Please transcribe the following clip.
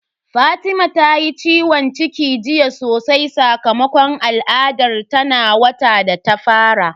Fatima ta yi ciwon ciki jiya sosai sakamakon al'adar ta na wata da ta fara.